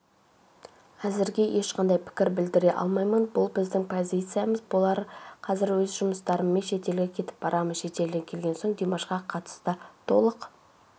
әзірге ешқандай пікір білдіре алмаймын бұл біздің позициямыз болар қазір өз жұмыстарыммен шетелге кетіп барамын шетелден келген соң димашқа қатысты толық